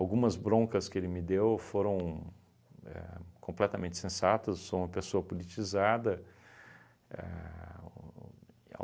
Algumas broncas que ele me deu foram éh completamente sensatas, sou uma pessoa politizada. Éh o e